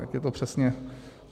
Jak je to přesně?